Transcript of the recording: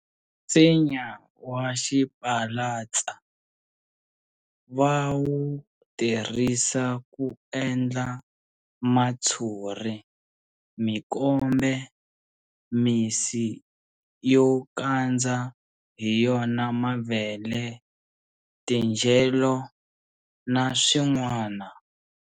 Nsinya wa xipalatsa va wu tirhisa ku endla matshuri, mikombe, misi yo kandza hi yona mavele, tindyelo na swin'wana.